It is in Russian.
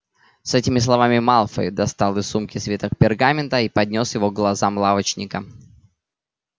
с этими словами малфой достал из сумки свиток пергамента и поднёс его к глазам лавочника